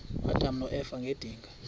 uadam noeva ngedinga